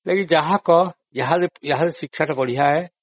କିନ୍ତୁ ଯାହା କହ ଏହାର ଶିକ୍ଷାଟା ବଢିଆ ଅଟେ